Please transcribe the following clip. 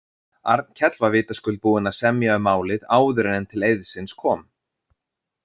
Arnkell var vitaskuld búinn að semja um málið áður en til eiðsins kom.